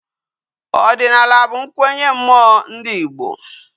Odinala bu nkwenye mmuo ndi igbo